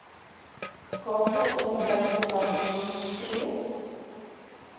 kaapse onderwysdepartement streef